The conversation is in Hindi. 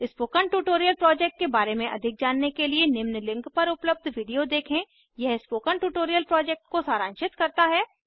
स्पोकन ट्यूटोरियल प्रोजेक्ट के बारे में अधिक जानने के लिए निम्न लिंक पर उपलब्ध वीडियो देखें यह स्पोकन ट्यूटोरियल प्रोजेक्ट को सारांशित करता है